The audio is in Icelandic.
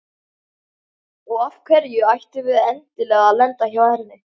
Og af hverju ættum við endilega að lenda hjá henni?